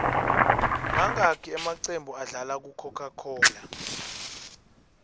mangaki amaqembu adlala ku cocacola